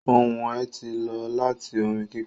Ohun ẹ̀ tí ó láti orin kíkọ